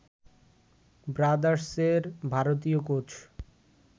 ব্রাদার্সের ভারতীয় কোচ